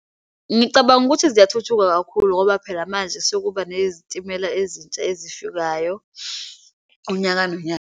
Ngicabanga ukuthi ziyathuthuka kakhulu ngoba phela manje sekuba nezitimela ezintsha ezifikayo, unyaka nonyaka.